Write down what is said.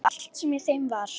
Og allt sem í þeim var.